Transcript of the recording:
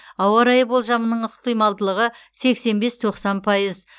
ауа райы болжамының ықтималдылығы сексен бес тоқсан пайыз